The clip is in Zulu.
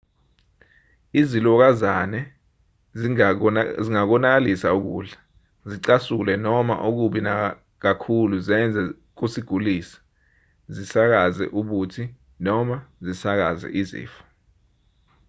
izilokazane zingakonakalisa ukudla zicasule noma okubi nakakhulu zenze kusigulise zisakaze ubuthi noma zisakaze izifo